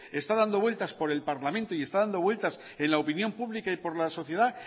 está dando vueltas por el parlamento y está dando vueltas en la opinión pública y por la sociedad